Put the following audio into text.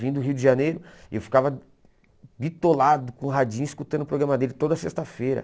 Vindo do Rio de Janeiro, eu ficava bitolado com o Radinho, escutando o programa dele toda sexta-feira.